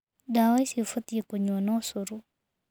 Ndawa ici ũbatiĩ kũnyua na ũcuru.